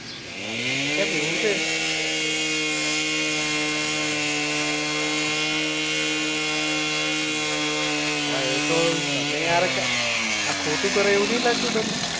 બરાબર છે કેમ એવું છે હમ હમ અવે એ તો યાર તમે કઈ આ ખોટું કરો એવું નથી લાગતું તમને